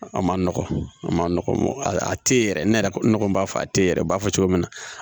A ma nɔgɔ a ma nɔgɔ a tɛ yɛrɛ ne yɛrɛ ne kɔni b'a fɔ a tɛ yɛrɛ b'a fɔ cogo min na